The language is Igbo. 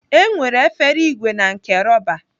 E nwere efere ìgwè na nke rọba.